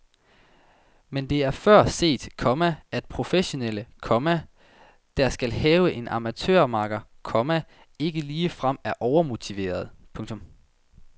Men det er før set, komma at professionelle, komma der skal have en amatørmakker, komma ikke ligefrem er overmotiverede. punktum